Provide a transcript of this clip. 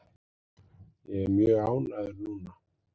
Ég er mjög ánægður núna.